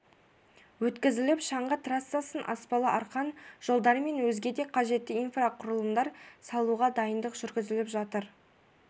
өткізіліп шаңғы трассасын аспалы арқан жолдар мен өзге де қажетті инфрақұрылымдарды салуға дайындық жүргізіліп жатыр